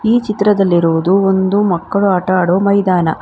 ಈ ಚಿತ್ರದಲ್ಲಿ ಇರುವುದು ಒಂದು ಮಕ್ಕಳು ಆಟ ಆಡುವ ಮೈದಾನ.